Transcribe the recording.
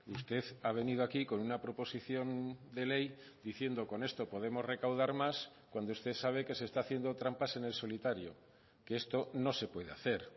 usted ha venido aquí con una proposición de ley diciendo con esto podemos recaudar más cuando usted sabe que se está haciendo trampas en el solitario que esto no se puede hacer